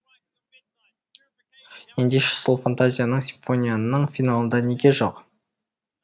ендеше сол фантазияң симфонияңның финалында неге жоқ